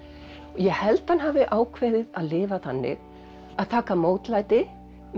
ég held hann hafi ákveðið að lifa þannig að taka mótlæti